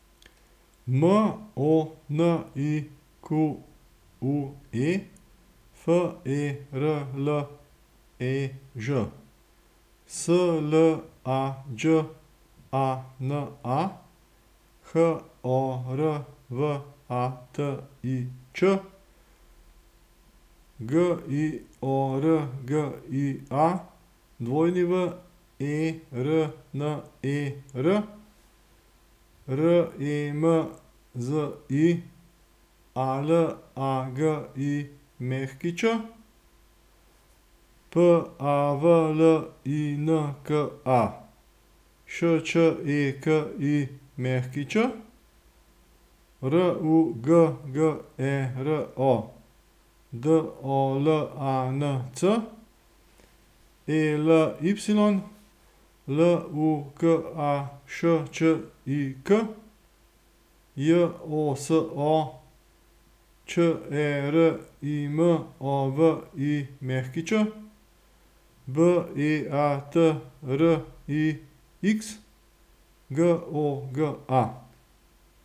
M O N I Q U E, F E R L E Ž; S L A Đ A N A, H O R V A T I Č; G I O R G I A, W E R N E R; R E M Z I, A L A G I Ć; P A V L I N K A, Š Č E K I Ć; R U G G E R O, D O L A N C; E L Y, L U K A Š Č I K; J O S O, Č E R I M O V I Ć; B E A T R I X, G O G A.